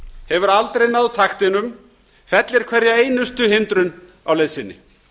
hefur aldrei náð taktinum fellir hverja einustu hindrun á leið sinni